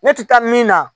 Ne tɛ taa min na